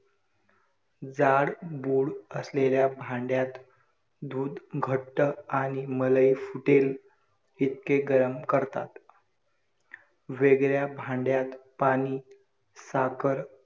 जाड बूड असलेल्या भांड्यात दूध घट्ट आणि मलई फुटेल इतके गरम करतात. वेगळ्या भांड्यात पाणी, साखर